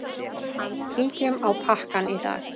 Kíkjum á pakkann í dag.